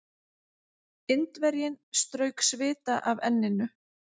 Indverjinn strauk svita af enninu.